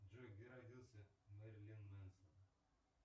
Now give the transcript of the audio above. джой где родился мерлин менсон